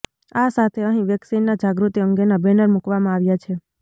આ સાથે અહીં વેક્સિનના જાગૃતિ અંગેના બેનર મૂકવામાં આવ્યા છે